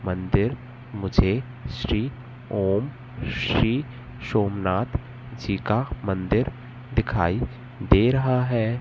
मंदिर मुझे श्री ओम श्री सोमनाथ जी का मंदिर दिखाई दे रहा है।